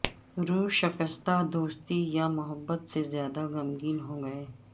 روح شکستہ دوستی یا محبت سے زیادہ غمگین ہوں گے